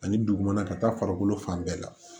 Ani dugumana ka taa farikolo fan bɛɛ la